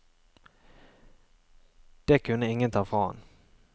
Det kunne ingen ta fra ham.